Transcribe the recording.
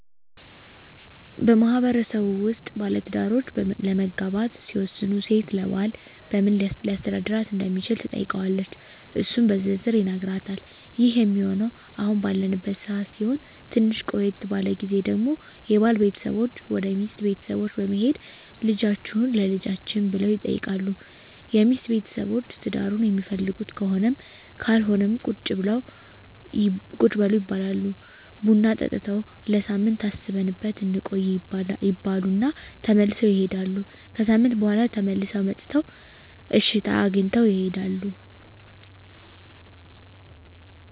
በማህበረሰቡ ውስጥ ባለትዳሮች ለመጋባት ሲወስኑ ሴት ለባል በምን ሊያስተዳድራት እንደሚችል ትጠይቀዋለች እሱም በዝርዝር ይነግራታል ይህ ሚሆነው አሁን ባለንበት ሰዓት ሲሆን ትንሽ ቆየት ባለው ግዜ ደግሞ የባል ቤተሰቦች ወደ ሚስት ቤተሰቦች በመሄድ ልጃቹህን ለልጃችን ብለው ይጠይቃሉ የሚስት ቤተሰቦች ትዳሩን ሚፈልጉት ከሆነም ካልሆነም ቁጭ በሉ ይባላሉ ቡና ጠጥተው ለሳምንት አስበንበት እንቆይ ይባሉ እና ተመልሰው ይሄዳሉ። ከሣምንት በኋላ ተመልሰው መጥተው እሽታ አግኝተው ይሄዳሉ።